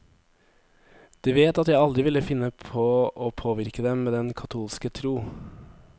De vet at jeg aldri ville finne på å påvirke dem med den katolske tro.